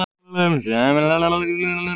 Heimir Már: Er hann ekki góður?